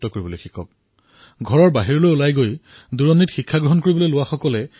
যিসকল শিক্ষাৰ্থীয়ে নিজৰ ঘৰ এৰি বাহিৰৰ কোনো স্থানলৈ পঢ়িবলৈ গৈছে সেই স্থানসমূহ আৱিষ্কাৰ কৰক